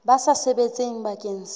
ba sa sebetseng bakeng sa